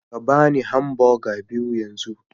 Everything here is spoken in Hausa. Ka ba ni hamburger biyu yanzu